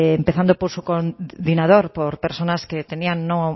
empezando por su coordinador por personas que tenían no